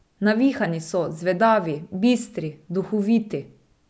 Navihani so, zvedavi, bistri, duhoviti.